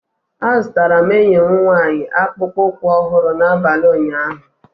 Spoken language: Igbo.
Azụtara m enyi m nwanyị akpụkpọ ụkwụ ọhụrụ n'abalị ụnyaahụ